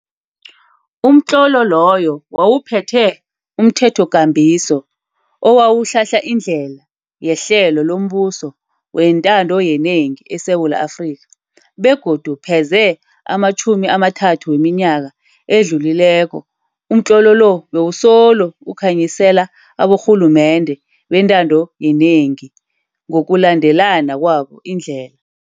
Umtlolo loyo wawuphethe umthethokambiso owawuhlahla indlela yehlelo lombuso wentando yenengi eSewula Afrika, begodu pheze ematjhumini amathathu weminyaka edlulileko umtlolo lo bewusolo ukhanyisela aborhulumende bentando yenengi ngokulandelana kwabo indlela.